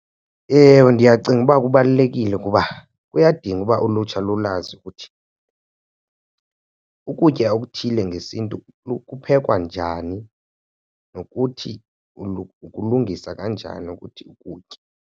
Ewe, ndiyacinga uba kubalulekile ukuba kuyadinga uba ulutsha lulazi ukuthi ukutya okuthile ngesiNtu kuphekwa njani. Nokuthi ukulungisa kanjani ukuthi ukutye.